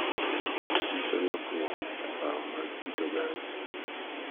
Nyiso lokruok e paro mag kit oganda